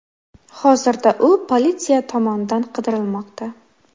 Hozirda u politsiya tomonidan qidirilmoqda.